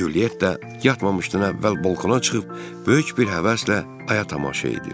Culyetta yatmamışdan əvvəl balkona çıxıb, böyük bir həvəslə aya tamaşa edir.